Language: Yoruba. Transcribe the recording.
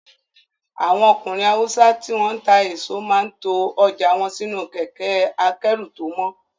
Àwọn ọkùnrin Haúsá tí wọ́n ń ta èso máa ń to ọjà wọn sínú kẹkẹ́-akẹ́rù tó mọ́.